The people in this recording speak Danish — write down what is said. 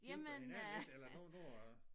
Hjælper hinanden lidt eller nu nu når